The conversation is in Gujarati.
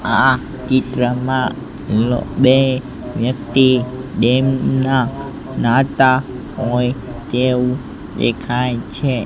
આ ચિત્રમાં બે વ્યક્તિ ડેમના નહાતા હોય તે વું દેખાય છે.